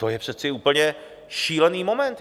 To je přece úplně šílený moment.